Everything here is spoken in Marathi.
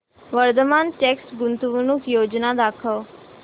वर्धमान टेक्स्ट गुंतवणूक योजना दाखव